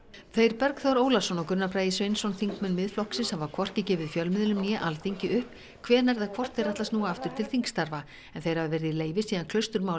þeir Bergþór Ólason og Gunnar Bragi Sveinsson þingmenn Miðflokksins hafa hvorki gefið fjölmiðlum né Alþingi upp hvenær eða hvort þeir ætli að snúa aftur til þingstarfa en þeir hafa verið í leyfi síðan